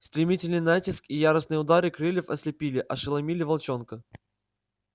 стремительный натиск и яростные удары крыльев ослепили ошеломили волчонка